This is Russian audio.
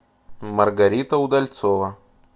маргарита удальцова